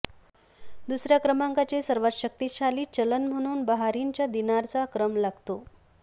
दुसऱया क्रमांकाचे सर्वात शक्तिशाली चलन म्हणून बहारिनच्या दिनारचा क्रम लागतो